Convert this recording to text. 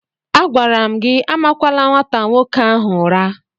Agwara m gị amakwala nwata nwoke ahụ ụra!